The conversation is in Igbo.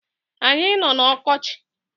Anyi no n’ọkọchi